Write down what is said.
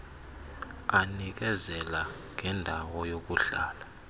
anikezela ngendawo yokuhlala